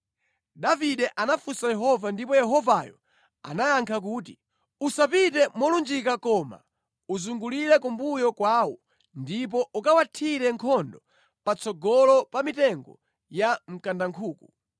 Davide anafunsa Yehova ndipo Yehovayo anayankha kuti, “Usapite molunjika koma uzungulire kumbuyo kwawo ndipo ukawathire nkhondo patsogolo pa mitengo ya mkandankhuku.